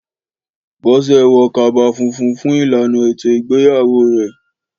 Bọ́sẹ̀ wọ kaba funfun fún ìlànà ètò ìgbéyàwó rẹ̀.